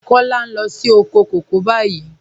Kọla ń lọ sí òkò kọ̀kọ̀ báyìí.